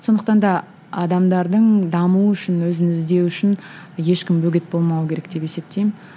сондықтан да адамдардың дамуы үшін өзін іздеуі үшін ешкім бөгет болмауы керек деп есептеймін